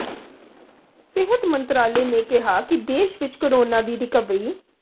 ਸਿਹਤ ਮੰਤਰਾਲੇ ਨੇ ਕਿਹਾ ਕਿ ਦੇਸ਼ ਵਿੱਚ ਕੋਰੋਨਾ ਦੀ ਰਿਕਵਰੀ